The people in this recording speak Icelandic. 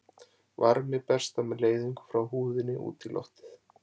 Varmi berst þá með leiðingu frá húðinni út í loftið.